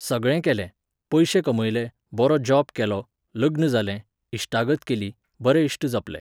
सगळें केलें, पयशे कमयले, बरो जॉब केलो, लग्न जालें, इश्टागत केली, बरे इश्ट जपले.